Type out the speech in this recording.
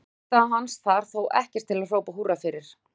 Frammistaða hans þar þó ekkert til að hrópa húrra fyrir.